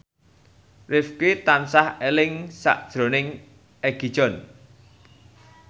Rifqi tansah eling sakjroning Egi John